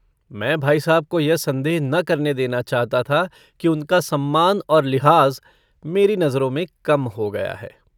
मैं भाई साहब को यह सन्देह न करने देना चाहता था कि उनका सम्मान और लिहाज़ मेरी नज़रों में कम हो गया है।